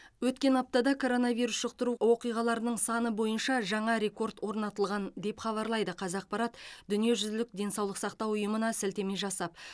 өткен аптада коронавирус жұқтыру оқиғаларының саны бойынша жаңа рекорд орнатылған деп хабарлайды қазақпаратдүниежүзілік денсаулық сақтауұйымына сілтеме жасап